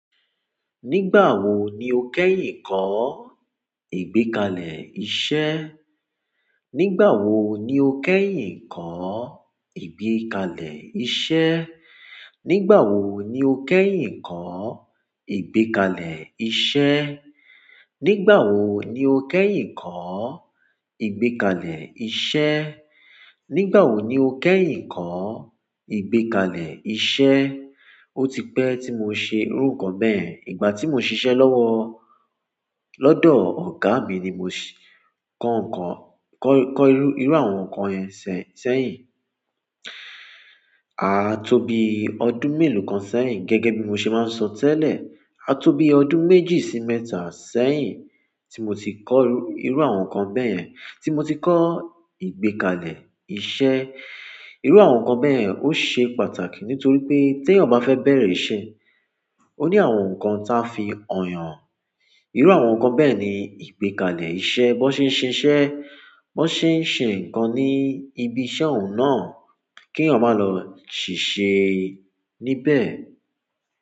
Nígbà wo ni o kẹ́yìn ń kọ́ ìgbékalẹ̀ iṣẹ́? Nígbà wo ni o kẹ́yìn ń kọ́ ìgbékalẹ̀ iṣẹ́? Nígbà wo ni o kẹ́yìn ń kọ́ ìgbékalẹ̀ iṣẹ́? Nígbà wo ni o kẹ́yìn ń kọ́ ìgbékalẹ̀ iṣẹ́? Nígbà wo ni o kẹ́yìn ń kọ́ ìgbékalẹ̀ iṣẹ́? Ó ti pẹ́ tí mo ṣe irú nǹkan bẹ́ẹ̀. Ìgbà tí mo n ṣiṣẹ́ lọ́wọ́ lọ́dọ̀ ọ̀gá mi ni mo ṣe kọ́ nǹkan kọ́, kọ́ irú, irú àwọn nǹkan yẹn ṣe sẹ́yìn. A tó bi ọdún mélòó kan sẹ́yìn. Gẹ́gẹ́ bí mo ṣe máa ń sọ tẹ́lẹ̀, a tó bi ọdún méjì sí mẹ́ta sẹ́yìn tí mo ti kọ́ irú àwọn nǹkan bẹ́ẹ̀. Tí mo ti kọ́ ìgbékalẹ̀ iṣẹ́. Irú àwọn nǹkan bẹ́ẹ̀ yẹn ó ṣe pàtàkì nítorí pé ti eyan bá fẹ́ bẹ̀rẹ̀ iṣẹ́, ó ní àwọn nǹkan táa fi hàn-yàn. Irú àwọn nǹkan bẹ́ẹ̀ ni ìgbékalẹ̀ iṣẹ́. Bí wọ́n ṣe ń ṣe iṣẹ́, bí wọ́n ṣe ń ṣe nǹkan ní ibi iṣẹ́ ọ̀ún náà kí ẹ̀yàn máa lọ ṣìṣe níbẹ̀.